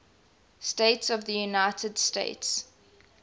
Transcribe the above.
states of the united states